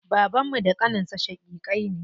Babanmu da ƙaninsa shaƙiƙai ne.